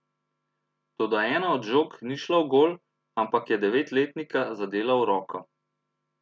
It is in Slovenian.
Toda ena od žog ni šla v gol, ampak je devetletnika zadela v roko.